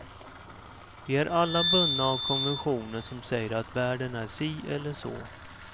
Vi är alla bundna av konventioner som säger att världen är si eller så.